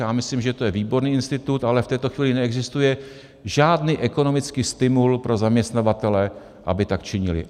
Já myslím, že to je výborný institut, ale v této chvíli neexistuje žádný ekonomický stimul pro zaměstnavatele, aby tak činili.